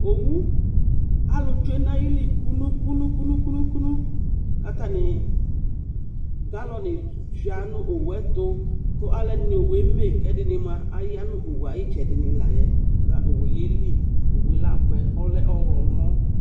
ɔwɔ kalutsɛ nu aɩli kunukunuknu katani galuni sha nu ɔwɛtu ku alɔdini Ɔwɛmɛ kɛ adinima yanu ɔwɛ aitsɛnilayɛ ɔwɛyɛli abuɛ ku ɔlɛ ɔgɔmɔ